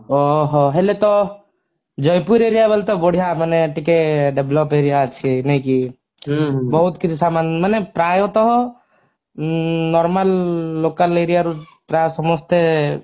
ଓଃ ହୋ ହେଲେ ତ ଜୟପୁର area ବୋଲି ତ ବଢିୟା ମାନେ ଟିକେ develop area ଅଛି ନାଇ କି ବହୁତ କିଛି ସାମାନ ମାନେ ପ୍ରାୟ ତ ଉଁ normal local area ରୁ ପ୍ରାୟ ସମସ୍ତେ